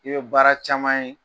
I be baara caman ye